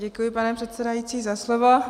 Děkuji, pane předsedající, za slovo.